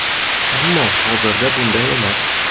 Ammo hozirda bunday emas.